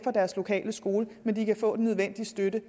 og deres lokale skole men kan få den nødvendige støtte